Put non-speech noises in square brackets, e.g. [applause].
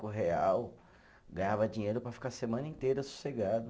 [unintelligible] real, ganhava dinheiro para ficar a semana inteira sossegado.